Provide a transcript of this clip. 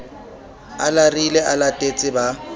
a larile a latetse ba